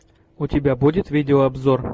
у тебя будет видеообзор